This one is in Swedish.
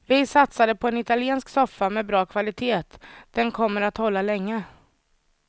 Vi satsade på en italiensk soffa med bra kvalitet, den kommer att hålla länge.